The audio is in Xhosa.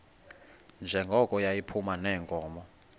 njengoko yayiphuma neenkomo